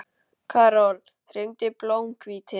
Karol, hringdu í Blómhvíti.